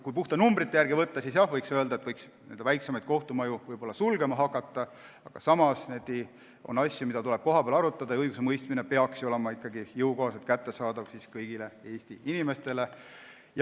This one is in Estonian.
Kui puhtalt numbrite järgi võtta, siis võiks öelda, et väiksemaid kohtumaju saaks võib-olla sulgema hakata, aga on asju, mida tuleb kohapeal arutada ja õigusemõistmine peaks ju olema ikkagi kättesaadav kõigile Eesti inimestele.